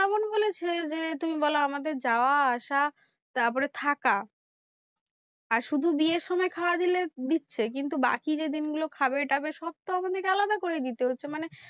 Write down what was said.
এমন বলেছে যে, তুমি বলো আমাদের যাওয়া আসা তারপরে থাকা আর শুধু বিয়ের সময় খাওয়া দিলে দিচ্ছে। কিন্তু বাকি যে দিনগুলো খাবে টাবে সব তো আমাদের কে আলাদা করে হচ্ছে। মানে